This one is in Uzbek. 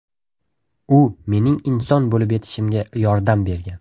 U mening inson bo‘lib yetishishimga yordam bergan.